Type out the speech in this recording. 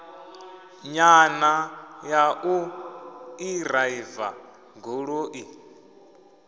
nyana ya u ḓiraiva goloi